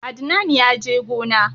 Adnan ya je gona